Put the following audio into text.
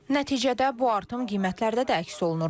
Nəticədə bu artım qiymətlərdə də əks olunur.